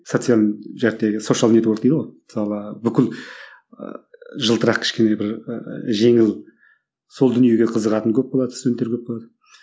мысалы бүкіл ыыы жылтырақ кішкене бір ііі жеңіл сол дүниеге қызығатын көп болады студенттер көп болады